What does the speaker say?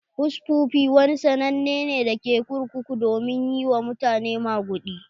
Hushpuppi wani sannane ne da ke kurkuku domin yi wa mutane maguɗi.